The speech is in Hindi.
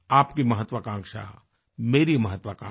आपकी महत्वाकांक्षा मेरी महत्वाकांक्षा